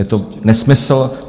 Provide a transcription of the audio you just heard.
Je to nesmysl.